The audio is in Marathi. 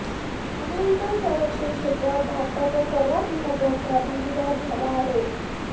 अमेरिका संरक्षण क्षेत्रात भारताचा सर्वात महत्त्वाचा भागीदार झाला आहे